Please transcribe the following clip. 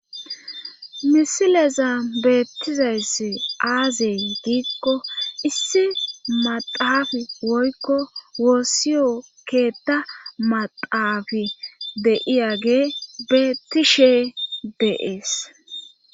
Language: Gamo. misileza beettizayssi aazey giikko issi maxaafi woykko woossiyo keetta madaafi de7iyage beettishe deees